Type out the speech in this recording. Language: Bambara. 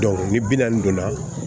ni bi naani donna